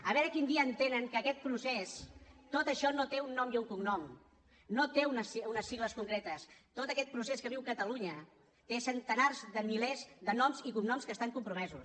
a veure quin dia entenen que aquest procés tot això no té un nom i un cognom no té unes sigles concretes tot aquest procés que viu catalunya té centenars de milers de noms i cognoms que estan compromesos